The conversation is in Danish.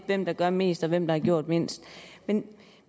hvem der gør mest og hvem der har gjort mindst men